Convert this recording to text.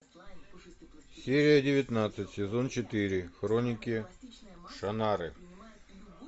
серия девятнадцать сезон четыре хроники шаннары